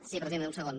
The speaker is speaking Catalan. sí presidenta un segon